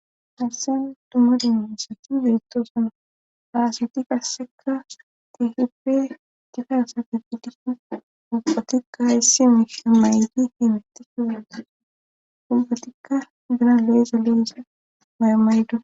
Hassen tumadino issati birittoosana haasati kasseka teehippe dikassate fi diku ubpatikka issi mi maydi himatiki wenda ubbatikka bira leeza loiza maymaydo